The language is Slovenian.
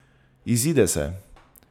Izide se!